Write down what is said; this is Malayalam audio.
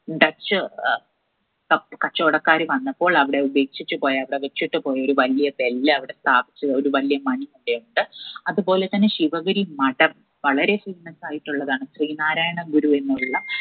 dutch ഏർ കപ് കച്ചോടക്കാർ വന്നപ്പോൾ അവിടെ ഉപേക്ഷിച്ചു പോയ അവിടെ വെച്ചിട്ട് പോയ ഒരു വല്യ bell അവിടെ സ്ഥാപിച്ചു ഒരു വല്യ മണിച്ചെണ്ട്‌ അത് പോലെത്തന്നെ ശിവഗിരി മഠം വളരെ famous ആയിട്ടുള്ളതാണ് ശ്രീനാരായണ ഗുരുവിനു ഉള്ള